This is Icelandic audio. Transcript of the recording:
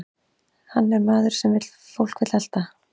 Hann er maður sem fólk vill elta.